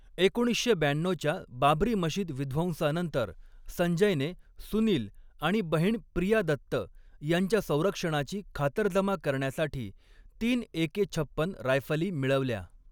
एकोणीसशे ब्याण्णऊच्या बाबरी मशीद विध्वंसानंतर, संजयने सुनील आणि बहीण प्रिया दत्त यांच्या संरक्षणाची खातरजमा करण्यासाठी तीन एके छप्पन रायफली मिळवल्या.